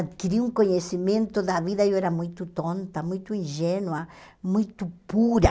Adquiri um conhecimento da vida, eu era muito tonta, muito ingênua, muito pura.